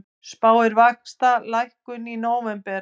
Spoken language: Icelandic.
Spáir vaxtalækkun í nóvember